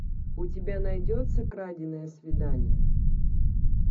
у тебя найдется краденое свидание